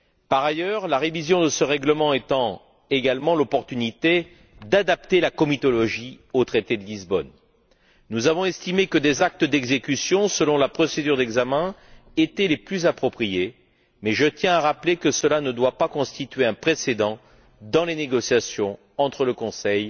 Par ailleurs, la révision de ce règlement étant également l'occasion d'adapter la comitologie au traité de Lisbonne, nous avons estimé que des actes d'exécution, selon la procédure d'examen, étaient les plus appropriés, mais je tiens à rappeler que cela ne doit pas constituer un précédent dans les négociations entre le Conseil